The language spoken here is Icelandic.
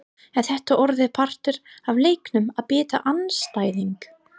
Er þetta orðið partur af leiknum að bíta andstæðing!?